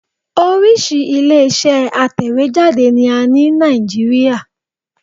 Orísìí ilé-iṣẹ́ atẹ̀wéjáde ni a ní Nàìjíríà